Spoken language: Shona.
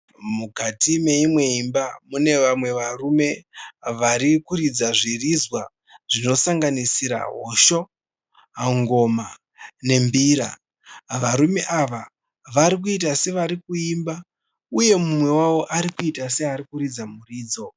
Mukati meimwe imwe imba mune vamwe varume vari kuridza zviridzwa zvinosanganisira hosho, ngoma nembira. Varume ava varikuita sevari kuimba uye umwe wavo arikuita seari kuridza muridzo.